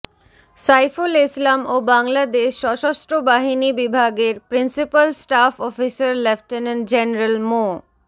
সাইফুল ইসলাম ও বাংলাদেশ সশস্ত্র বাহিনী বিভাগের principal staff officer lieutenant general মো